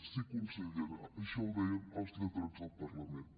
sí consellera això ho deien els lletrats del parlament